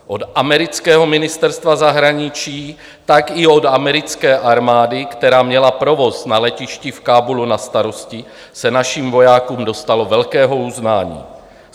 Od amerického ministerstva zahraničí, tak i od americké armády, která měla provoz na letišti v Kábulu na starosti, se našim vojákům dostalo velkého uznání.